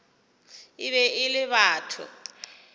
e be e le batho